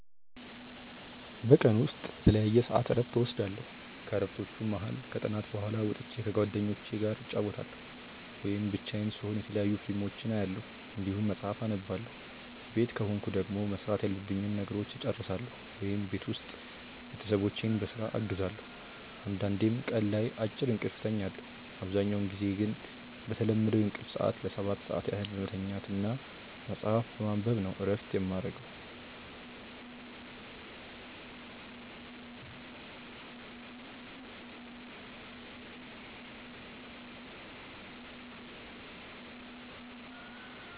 በቀን ውስጥ በተለያየ ሰዐት እረፍት እወስዳለሁ። ከእረፍቶቹም መሀል ከጥናት በኋላ ወጥቼ ከጓደኞቹ ጋር እጫወታለሁ ወይም ብቻዬን ስሆን የተለያዩ ፊልሞችን አያለሁ እንዲሁም መጽሐፍ አነባለሁ ቤት ከሆንኩ ደግሞ መስራት ያሉብኝን ነገሮች እጨርሳለሁ ወይም ቤት ውስጥ ቤተሰቦቼን በስራ አግዛለሁ አንዳንዴም ቀን ላይ አጭር እንቅልፍ እተኛለሁ። አብዛኛውን ጊዜ ግን በተለመደው የእንቅልፍ ሰዐት ለ7 ሰዓት ያህል በመተኛት እና መጽሀፍ በማንበብ ነው እረፍት የማረገው።